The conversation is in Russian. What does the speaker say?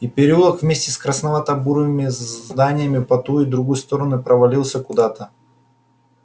и переулок вместе с красновато-бурыми зданиями по ту и другую сторону провалился куда-то